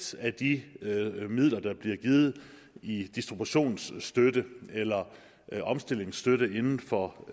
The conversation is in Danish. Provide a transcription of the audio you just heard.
af de midler der bliver givet i distributionsstøtte eller omstillingsstøtte inden for